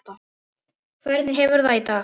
Hvernig hefurðu það í dag?